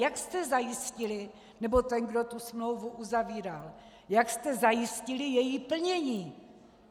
Jak jste zajistili, nebo ten, kdo tu smlouvu uzavíral, jak jste zajistili její plnění?